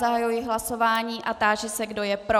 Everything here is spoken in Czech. Zahajuji hlasování a táži se, kdo je pro.